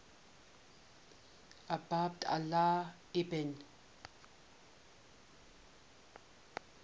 abd allah ibn